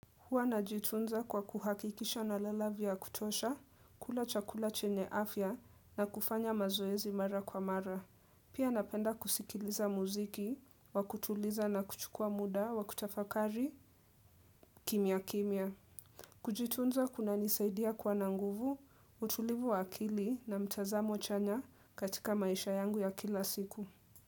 Huwa najitunza kwa kuhakikisha nalala vya kutosha, kula chakula chenye afya na kufanya mazoezi mara kwa mara. Pia napenda kusikiliza muziki wa kutuliza na kuchukua muda wa kutafakari, kimya kimya. Kujitunza kunanisaidia kuwa na nguvu, utulivu wa akili na mtazamo chanya katika maisha yangu ya kila siku.